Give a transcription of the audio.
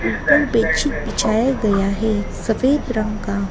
ऊपर बेडशीट बिछाया गया है सफेद रंग का।